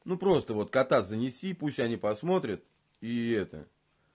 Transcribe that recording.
ну просто вот кота занеси пусть они посмотрят и это